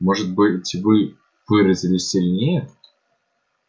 может быть вы выразились сильнее